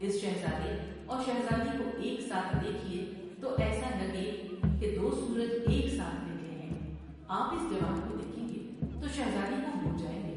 اس شہزادے اور شہزادی کو ایک ساتھ دیکھیے تو ایسا لگے کہ دوسورج ایک ساتھ نکلے ہیں ۔آپ اس جوان کو دیکھیں گے تو شہزادی کو بھول جائیں گے ۔